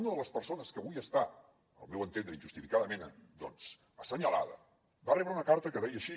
una de les persones que avui està al meu entendre injustificadament doncs assenyalada va rebre una carta que deia així